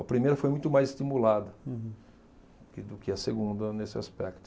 A primeira foi muito mais estimulada. Hum. Do que, do que a segunda nesse aspecto.